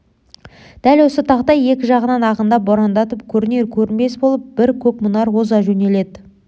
дәл осы тақта екі жағынан ағындап борандатып көрінер-көрінбес болып бір көк мұнар оза жөнелді